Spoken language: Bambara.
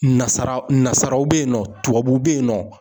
Nasara nasaraw bɛ yen nɔ tubabuw bɛ yen nɔ.